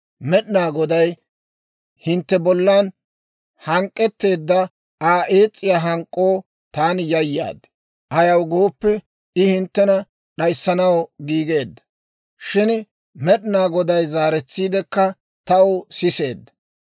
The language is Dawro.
Med'inaa Goday hintte bollan hank'k'etteedda Aa ees's'iyaa hank'k'oo taani yayaad; ayaw gooppe, I hinttena d'ayissanaw giigeedda; shin Med'inaa Goday zaaretsiidekka taw siseedda.